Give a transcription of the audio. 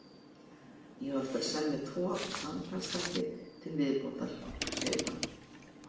Ég á eftir að semja tvo samtalsþætti til viðbótar, segir hann.